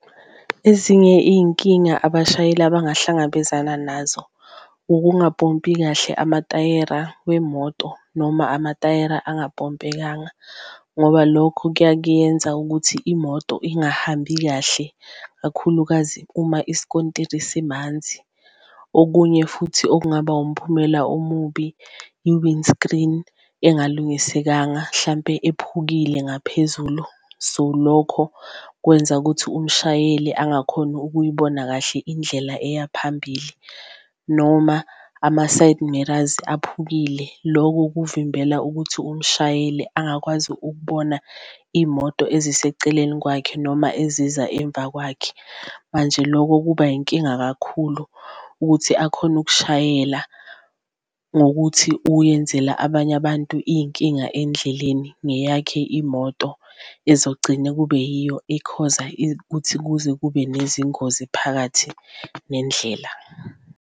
Ezinye iyinkinga abashayeli abangahlangabezana nazo ukungapompi kahle amatayera wemoto noma amatayera engapompekanga ngoba lokho kuyakuyenza ukuthi imoto ingahambi kahle, kakhulukazi uma iskontiri simanzi. Okunye futhi okungaba umphumela omubi i-windscreen engalungisekanga hlampe ephukile ngaphezulu so, lokho kwenza ukuthi umshayeli angakhoni ukuyibona kahle indlela eya phambili. Noma ama-side mirrors aphukile loko kuvimbela ukuthi umshayeli angakwazi ukubona iy'moto eziseceleni kwakhe noma eziza emva kwakhe, manje loko kuba inkinga kakhulu kuthi akhone ukushayela ngokuthi uyenzela abanye abantu iy'nkinga endleleni ngeyakhe imoto. Ezogcina kube yiyo ekhoza ukuthi kuze kube nezingozi phakathi nendlela.